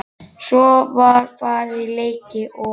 Svo var farið í leiki og